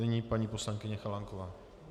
Nyní paní poslankyně Chalánková.